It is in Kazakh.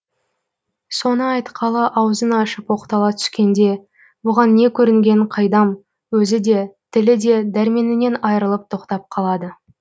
соны айтқалы аузын ашып оқтала түскенде бұған не көрінгенін қайдам өзі де тілі де дәрменінен айырылып тоқтап қалады